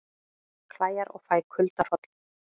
Klæjar og fæ kuldahroll